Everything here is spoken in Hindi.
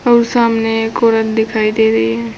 और सामने एक औरत दिखाई दे रही है।